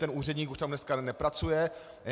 Ten úředník už tam dneska nepracuje.